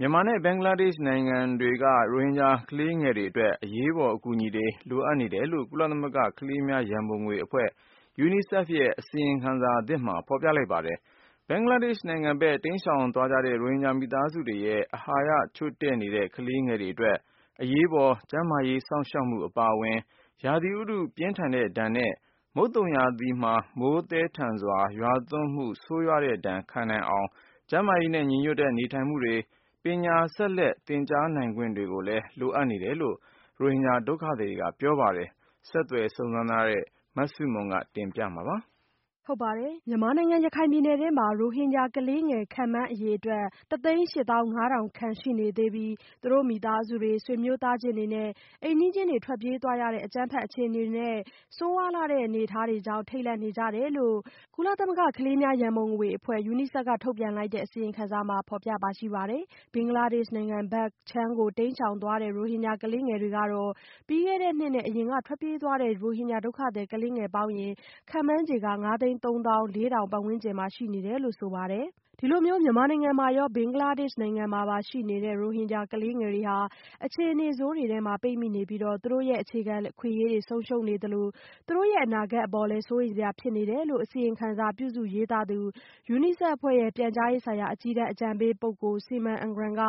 မြန်မာနဲ့ ဘင်္ဂလားဒေ့ရှ်နိုင်ငံတွေက ရိုဟင်ဂျာကလေးငယ်တွေအတွက် အရေးပေါ်အကူအညီတွေ လိုအပ်နေတယ်လို့ ကုလသမဂ္ဂ ကလေးများရန်ပုံငွေအဖွဲ့ UNICEF ရဲ့ အစီရင်ခံစာအသစ်က ဖော်ပြလိုက်ပါတယ်။ ဘင်္ဂလားဒေ့ရှ်နိုင်ငံဘက် တိမ်းရှောင်သွားတဲ့ ရိုဟင်ဂျာမိသားစုတွေရဲ့ အာဟာရချို့တဲ့နေတဲ့ ကလေးငယ်တွေအတွက် အရေးပေါ် ကျန်းမာရေး စောင့်ရှောက်မှုအပါအဝင် ရာသီဥတုပူပြင်းတဲ့ ဒဏ်နဲ့ မုတ်သုံရာသီရောက်လာတဲ့အခါ မိုးသည်းထန်စွာရွာသွန်းမှု ဆိုးဝါးတဲ့ ဒဏ်ခံနိုင်အောင် ကျန်းမာရေးနဲ့ညီညွတ်တဲ့ နေထိုင်မှုတွေ အပြင် ပညာဆက်လက်သင်ကြားနိုင်ခွင့်တွေလည်း လိုအပ်တယ်လို့လည်း ဒုက္ခသည်စခန်းရောက် ရိုဟင်ဂျာဒုက္ခသည်တွေကပြောပါတယ်။ ဆက်သွယ်စုံစမ်းထားတဲ့ မဆုမွန် ဆက်ပြောပြပါမယ်။ မြန်မာနိုင်ငံ၊ ရခိုင်ပြည်နယ်ထဲမှာ ရိုဟင်ဂျာကလေးငယ် ခန့်မှန်းအရေအတွက် တစ်သိန်းရှစ်သောင်းငါးထောင်ခန့် ၁၈၅,၀၀၀ ရှိနေသေးပြီး သူတို့ မိသားစုတွေ၊ ဆွေမျိုးချင်းတွေနဲ့ အိမ်နီးချင်းတွေ ထွက်ပြေးသွားရတဲ့ အကြမ်းဖက်အခြေအနေနဲ့ ဆိုးရွားလှတဲ့အနေအထားတွေကြောင့် ထိတ်လန့်နေကြတယ်လို့ UNICEF က ထုတ်ပြန်လိုက်တဲ့ အစီရင်ခံ စာမှာ ဖော်ပြထားပါတယ်။ ဘင်္ဂလားဒေ့ရှ်နိုင်ငံဘက်ခြမ်း တိမ်းရှောင်သွားတဲ့ ရိုဟင်ဂျာကလေးငယ်တွေကတော့ ပြီးခဲ့တဲ့နှစ်နဲ့ အရင်ကထွက်ပြေးသွားတဲ့ ရိုဟင်ဂျာ ဒုက္ခသည်ကလေးငယ် ခန့်မှန်း ခြေ ငါးသိန်းသုံးသောင်း လေးထောင် ပတ်ဝန်းကျင်ရှိနေတယ်လို့ ဆိုထားပါတယ်။ ဒီလိုမျိုးမြန်မာနိုင်ငံမှာရော ဘင်္ဂလားဒေ့ရှ်မှာပါ ရှိနေတဲ့ ရိုဟင်ဂျာကလေးငယ်တွေဟာ အခြေအနေဆိုးတွေထဲမှာ ပိတ်မိနေပြီး သူတို့ရဲ့ အခြေခံအခွင့်အရေး တွေ ဆုံးရှုံးနေသလို သူတို့ရဲ့အနာဂတ်အပေါ် စိုးရိမ်စရာဖြစ်နေတယ်လို့ အစီရင်ခံစာပြုစုရေးသားသူ UNICEF အဖွဲ့ရဲ့ ပြန်ကြားရေးဆိုင်ရာ အကြီးတန်း အကြံပေးပုဂ္ဂိုလ် Simon Ingram က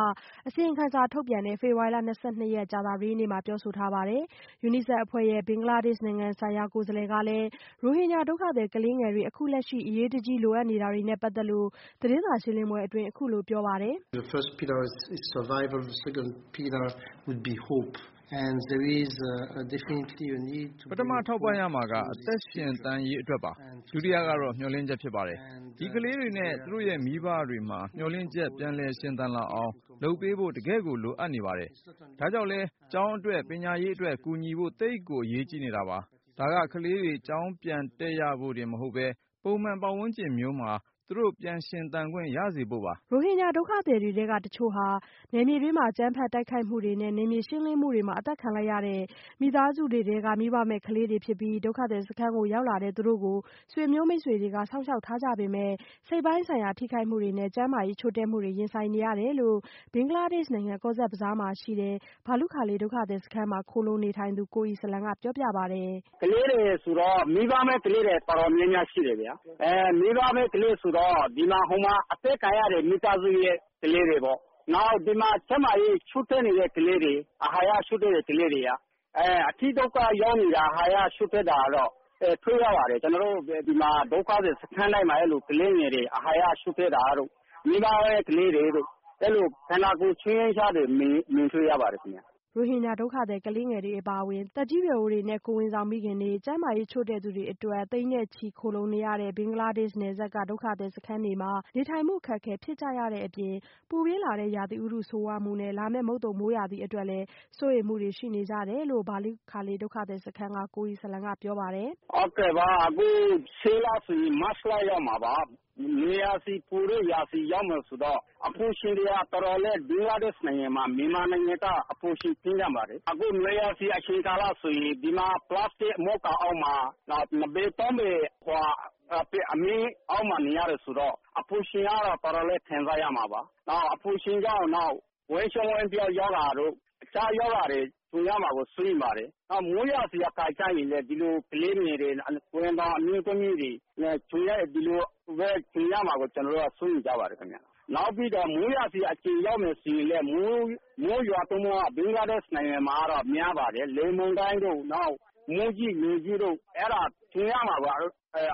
အစီရင်ခံစာထုတ်ပြန်တဲ့ ဖေဖော်ဝါရီလ ၂၂ ရက်၊ ကြာသပတေးနေ့မှာ ပြောထားပါတယ်။ UNICEF အဖွဲ့ရဲ့ ဘင်္ဂလားဒေ့ရှ်နိုင်ငံဆိုင်ရာကိုယ်စားလှယ် Edouard Beigbeder ကလည်း ရိုဟင်ဂျာဒုက္ခသည် ကလေးငယ်တွေ အခုလက်ရှိ အရေးတကြီးလိုအပ်နေတာတွေနဲ့ပတ်သက်လို့ သတင်းစာရှင်းလင်းပွဲအတွင်း အခုလို ပြော ပါတယ်။ “ပထမထောက်ပံ့ရမှာက အသက်ရှင်သန်ရေးအတွက်ပါ။ ဒုတိယကတော့ မျှော်လင့်ချက်ဖြစ်ပါတယ်။ ဒီကလေး တွေနဲ့ သူတို့ရဲ့မိဘတွေမှာ မျှော်လင့်ချက် ပြန်ရှင်သန်လာအောင် လုပ်ပေးဖို့ တကယ့်ကို လိုအပ်နေပါတယ်။ ဒါကြောင့်လည်း ကျောင်းအတွက်၊ ပညာရေးအတွက် ကူညီဖို့ သိပ်ကိုအရေးကြီးနေတာပါ။ ဒါက ကလေးတွေ ကျောင်းပြန်တက်ရဖို့တင်မဟုတ်ဘဲ ပုံမှန်ပတ်ဝန်းကျင်မျိုးမှာ သူတို့ ပြန်ရှင်သန်ခွင့် ရစေဖို့ပါ။” ရိုဟင်ဂျာဒုက္ခသည်ကလေးငယ်တွေထဲက တချို့ဟာ အကြမ်းဖက်တိုက်ခိုက်မှုနဲ့ နယ်မြေရှင်းလင်းမှုတွေမှာ အသတ်ခံလိုက်ရတဲ့ မိသားစုတွေထဲက မိဘမဲ့ကလေးတွေဖြစ်ပြီး ဒုက္ခသည်စခန်းရောက်လာတဲ့သူတို့ကို ဆွေမျိုးမိတ်ဆွေတွေက စောင့်ရှောက်ထားကြပေမဲ့လို့ စိတ်ပိုင်းဆိုင်ရာထိခိုက်မှုတွေနဲ့ ကျန်းမာရေးချို့တဲ့မှုနဲ့ ရင်ဆိုင်နေရတယ်လို့ ဘင်္ဂလားဒေ့ရှ်နိုင်ငံ Cox's Bazar မှာရှိတဲ့ Balukhali ဒုက္ခသည်စခန်းမှာ ခိုလှုံနေထိုင်တဲ့ ကိုအီစလံက အခုလိုပြောပြပါတယ်။ " မိဘမဲ့ကလေးငယ်တွေ တော်တော်များများရှိတယ်ခင်ဗျာ ဒီမိဘမဲ့ကလေးတွေက ဟိုမှာ အသတ်ခံရတဲ့ မိသားစုရဲ့ ကလေးတွေပေါ့။ နောက် ဒီမှာ ကျန်းမာရေးချို့တဲ့တဲ့ကလေးတွေ အာဟာရချို့တဲ့တဲ့ကလေးတွေ အတိဒုက္ခရောက်နေတဲ့ အာဟာရချို့တဲ့ကလေးတွေ တွေ့ရပါတယ်။ ကျနော်တို့ ဒုက္ခသည်စခန်းတိုင်းမှာ ကလေးငယ်တွေ အာဟာရချို့တဲ့တာတို့ မိဘမဲ့ကလေးငယ်တို့ အဲ့လို ဆင်းရဲကြတဲ့ကလေးလေးတွေ မြင်တွေ့ရတယ်။" ရိုဟင်ဂျာဒုက္ခသည်ကလေးငယ်တွေအပါအဝင် သက်ကြီးရွယ်အိုတွေနဲ့ ကိုယ်ဝန်ဆောင်မိခင်တွေ ကျန်းမာရေးချို့တဲ့သူတွေအတွက် သိန်းနဲ့ချီခိုလှုံနေရတဲ့ ဘင်္ဂလားဒေ့ရှ်နယ်စပ်က ဒုက္ခသည်စခန်းတွေမှာ နေထိုင်မှု အခက်အခဲဖြစ်ကြရတဲ့အပြင် ပူပြင်းလာတဲ့ ရာသီဥတုဆိုးဝါးမှုနဲ့ လာမယ့် မုတ်သုံမိုးရာသီအတွက်လည်း စိုးရိမ်မှုတွေရှိနေကြတယ်လို့ Balukhali ဒုက္ခသည်စခန်းက ကိုအီစလံက ပြောပြပါတယ်။ " ဟုတ်ကဲ့ပါ ရှေ့လဆို မတ်လ ရောက်မှာပါ။ နွေရာသီအပူချိန်ရာသီရောက်ပြီဆိုတော့ အပူချိန်တွေက ဘင်္ဂလားဒေ့ရှ်နိုင်ငံမှာ မြန်မာထက်ကို အပူချိန် ပြင်းထန်ပါတယ်။ အခု နွေရာသီအချိန်ကာလဆိုရင် နှစ်ပေ သုံးပေ အခန်းလေးမှာ နှစ်ပေသုံးပေ အမိုးအကာအောက် အမြင့်အောက်မှာ နေရတယ်ဆိုတော့ အပူချိန်က တော်တော်လေး ခံစားရမှာပါ။ နောက် အပူရှိန်ကြောင့် ဝမ်းပျက် ဝမ်းလျှော ရောဂါတို့ အခြားရောဂါတို့ ဝင်လာမှာကို စိုးရိမ်ပါတယ်။ နောက် မိုးရာသီဆိုရင်လည်း ဒီလိုကလေးငယ်တွေ ကိုယ်ဝန်ဆောင်အမျိုးသမီးတွေ ဒီလိုပဲ ကြုံရမှာကိုလည်း စိုးရိမ်ကြပါတယ်။ နောက်ပြီးတော့ မိုးရာသီရောက်ပြီဆိုရင်လည်း မိုးရွာသွန်းမှုက ဘင်္ဂလားဒေ့ရှ်နိုင်ငံမှာ များပါတယ် လေမုန်တိုင်းတို့ မိုးကြီးလေကြီးတို့ အဲ့တာ ရင်ဆိုင်ရမှာပါ အဲ့တာ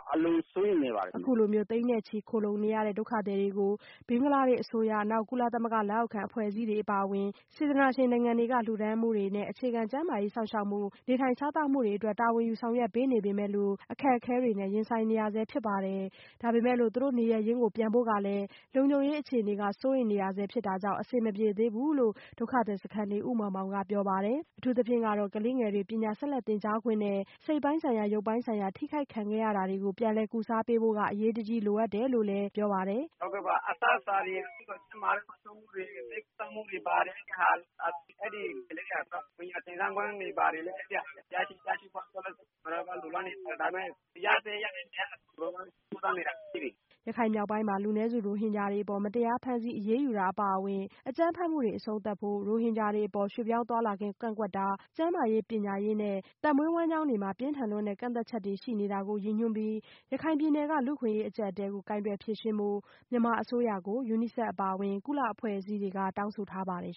ကို အလွန်စိုးရိမ်နေကြပါတယ်ခင်ဗျာ။" အခုလို သိန်းနဲ့ချီ ခိုလှုံနေကြတဲ့ ဒုက္ခသည်တွေကို ဘင်္ဂလားဒေ့ရှ်အစိုးရ နောက် ကုလသမဂ္ဂလက်အောက်ခံအဖွဲ့အစည်းတွေအပါအဝင် စေတနာရှင်အဖွဲ့တွေက လှူဒါန်းမှုတွေနဲ့ အခြေခံ ကျန်းမာရေးစောင့်ရှောက်မှု နေထိုင်စားသောက်မှုတွေအတွက် တာဝန်ယူ ဆောင်ရွက်ပေးနေပေမဲ့လို့ အခက်အခဲတွေနဲ့ ကြုံနေရဆဲဖြစ်ပါတယ်။ ဒါပေမဲ့လို့ သူတို့နေရပ်ရင်းကို ပြန်ဖို့ကလည်း လုံခြုံရေးစိုးရိမ်နေရဆဲ အခြေအနေဖြစ်တာကြောင့် အဆင်မပြေသေးဘူးလို့ ကုတုပလောင်ဒုက္ခသည်စခန်းနေ ဦးမောင်မောင်ကပြောပြပါတယ်။ အထူးသဖြင့်ကတော့ ကလေးငယ်တွေအတွက် ပညာဆက်လက်သင်ကြားနိုင်ခွင့်နဲ့ စိတ်ပိုင်းဆိုင်ရာ ရုပ်ပိုင်းဆိုင်ရာ ထိခိုက်ခဲ့တာတွေကို ပြန်လည်ကုစားပေးဖို့ကလည်း အရေးတကြီးလိုအပ်တယ်လို့ ဒုက္ခသည်စခန်းနေ ဒုက္ခသည်တွေကပြောပါတယ်။ "ဟုတ်ကဲ့ အစားအစာ ကျန်းမာရေးစောင့်ရှောက်မှု ဆေးကုသမှုတွေ ဘာတွေ အဲ့တာတွေ ကလေးတွေ လိုအပ်တယ်။ နောက် ပညာသင်ကြားခွင့်ကိုလည်း ကျနော်တို့ လိုလားနေပါတယ်။ ဒါပေမဲ့ လောလောဆယ်တော့ ရသင့်ရထိုက်တာတွေ ရဖို့ ကျျနော်တို့ ကြိုးစားနေပါတယ်။" ရခိုင်မြောက်ပိုင်းမှာ လူနည်းစုရိုဟင်ဂျာတွေအပေါ် မတရားဖမ်းဆီးအရေးယူတာတွေအပါအဝင် အကြမ်းဖက်မှုတွေ အဆုံးသတ်ဖို့၊ ရိုဟင်ဂျာတွေအပေါ် ရွှေ့ပြောင်းသွားလာခွင့် ကန့်သတ်ထားတာ၊ ကျန်းမာရေး၊ ပညာရေးနဲ့ အသက်မွေးဝမ်းကျောင်းမှုတွေမှာ ပြင်းထန်လွန်းတဲ့ ကန့်သတ်ချက်တွေ ရှိနေတာကို ရည်ညွှန်းပြီး ရခိုင်ပြည်နယ်က လူ့အခွင့်အရေးအကျပ်အတည်းကို ကိုင်တွယ်ဖြေရှင်းဖို့ မြန်မာအစိုးရကိုလည်း UNICEF အပါအဝင် ကုလအဖွဲ့အစည်းတွေ က တောင်းဆိုထားပါတယ်